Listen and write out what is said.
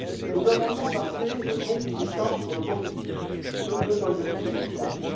Nos amendements partaient donc d'idées simples sur le processus d'autorisation des substances.